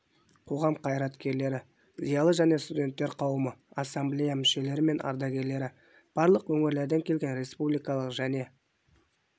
қоғам қайраткерлері зиялы және студенттер қауымы ассамблея мүшелері мен ардагерлері барлық өңірлерден келген республикалық және